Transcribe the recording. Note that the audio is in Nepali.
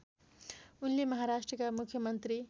उनले महाराष्ट्रका मुख्यमन्त्री